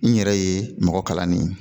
N yɛrɛ ye mɔgɔ kalanni ye